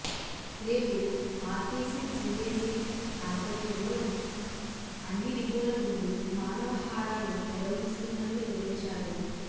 రేపు RTC JAC ఆధ్వర్యంలో అన్ని డిపోల ముందు మానవహారాలు నిర్వహిస్తున్నట్టు వివరించారు